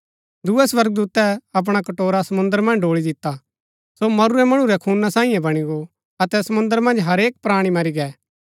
दूये स्वर्गदूतै अपणा कटोरा समुंद्र मन्ज ड़ोळी दिता सो मरूरै मणु रै खूना सांईये बणी गो अतै समुंद्र मन्ज हरेक प्राणी मरी गै